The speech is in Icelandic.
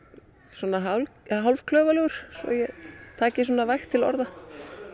svona hálfklaufalegur svo ég taki vægt til orða